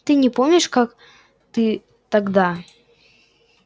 ты не помнишь как ты тогда